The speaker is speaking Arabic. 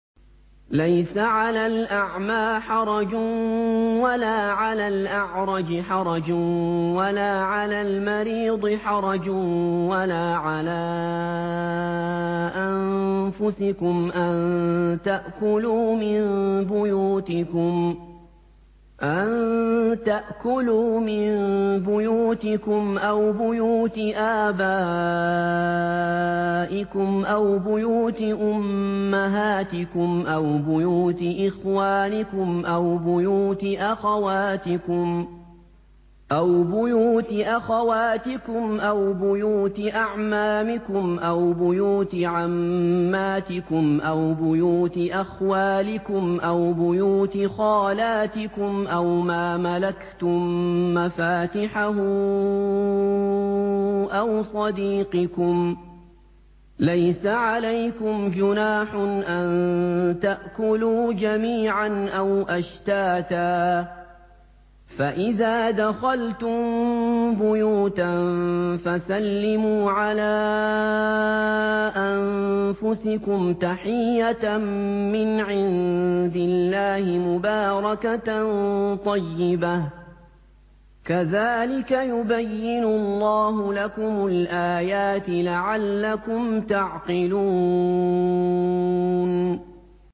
لَّيْسَ عَلَى الْأَعْمَىٰ حَرَجٌ وَلَا عَلَى الْأَعْرَجِ حَرَجٌ وَلَا عَلَى الْمَرِيضِ حَرَجٌ وَلَا عَلَىٰ أَنفُسِكُمْ أَن تَأْكُلُوا مِن بُيُوتِكُمْ أَوْ بُيُوتِ آبَائِكُمْ أَوْ بُيُوتِ أُمَّهَاتِكُمْ أَوْ بُيُوتِ إِخْوَانِكُمْ أَوْ بُيُوتِ أَخَوَاتِكُمْ أَوْ بُيُوتِ أَعْمَامِكُمْ أَوْ بُيُوتِ عَمَّاتِكُمْ أَوْ بُيُوتِ أَخْوَالِكُمْ أَوْ بُيُوتِ خَالَاتِكُمْ أَوْ مَا مَلَكْتُم مَّفَاتِحَهُ أَوْ صَدِيقِكُمْ ۚ لَيْسَ عَلَيْكُمْ جُنَاحٌ أَن تَأْكُلُوا جَمِيعًا أَوْ أَشْتَاتًا ۚ فَإِذَا دَخَلْتُم بُيُوتًا فَسَلِّمُوا عَلَىٰ أَنفُسِكُمْ تَحِيَّةً مِّنْ عِندِ اللَّهِ مُبَارَكَةً طَيِّبَةً ۚ كَذَٰلِكَ يُبَيِّنُ اللَّهُ لَكُمُ الْآيَاتِ لَعَلَّكُمْ تَعْقِلُونَ